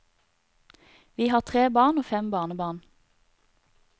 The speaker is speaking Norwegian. Vi har tre barn og fem barnebarn.